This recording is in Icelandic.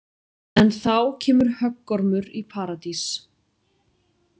En þá kemur höggormur í paradís.